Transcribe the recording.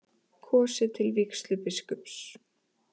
Kosið til vígslubiskups